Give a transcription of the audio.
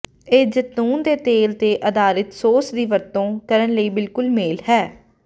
ਇਹ ਜੈਤੂਨ ਦੇ ਤੇਲ ਤੇ ਆਧਾਰਿਤ ਸੌਸ ਦੀ ਵਰਤੋਂ ਕਰਨ ਲਈ ਬਿਲਕੁਲ ਮੇਲ ਹੈ